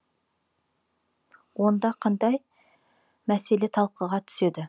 онда қандай мәселе талқыға түседі